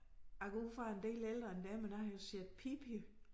Jeg går ud fra jeg en del ældre end dig men jeg har jo set Pippi